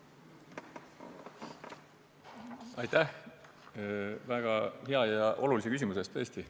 Aitäh väga hea ja olulise küsimuse eest!